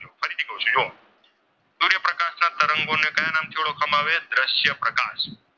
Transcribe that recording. નો સમાવેશ દ્રશ્ય પ્રકાશ.